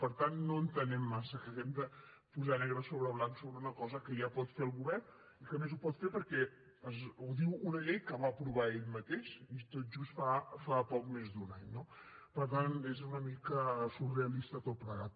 per tant no entenem massa que hàgim de posar negre sobre blanc sobre una cosa que ja pot fer el govern i que a més ho pot fer perquè ho diu una llei que va aprovar ell mateix tot just fa poc més d’un any no per tant és una mica surrealista tot plegat